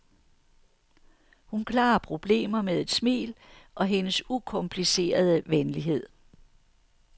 Hun klarer problemer med et smil og hendes ukomplicerede venlighed.